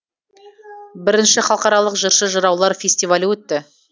бірінші халықаралық жыршы жыраулар фестивалі өтті